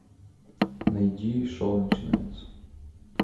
найди шоу начинается